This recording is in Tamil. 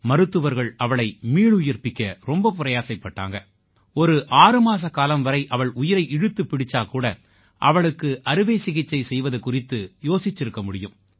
மருத்துவர்கள் அவளை மீளுயிர்ப்பிக்க ரொம்ப பிரயாசைப்பட்டாங்க ஒரு ஆறு மாசக்காலம் வரை அவள் உயிரை இழுத்துப் பிடிச்சா கூட அவளுக்கு அறுவை சிகிச்சை செய்வது குறித்து யோசிச்சிருக்க முடியும்